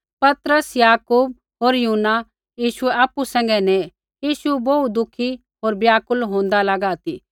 पतरस याकूब होर यूहन्ना यीशुऐ आपु सैंघै नेऐ यीशु बोहू दुखी होर व्याकुल होंदा लागा ती